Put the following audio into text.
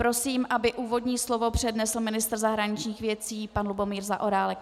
Prosím, aby úvodní slovo přednesl ministr zahraničních věcí pan Lubomír Zaorálek.